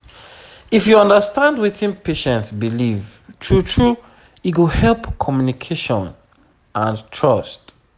if you understand wetin patient believe true true e go help communication and trust